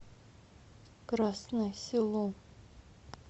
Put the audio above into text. красное село